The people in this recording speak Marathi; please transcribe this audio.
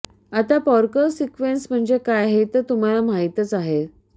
आता पारकॉर सिक्वेन्स म्हणजे काय हे तर तुम्हाला माहीत आहेच